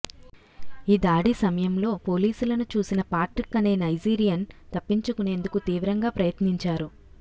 ఈ దాడి సమయంలో పోలీసులను చూసిన పాట్రిక్ అనే నైజీరియన్ తప్పించుకొనేందుకు తీవ్రంగా ప్రయత్నించారు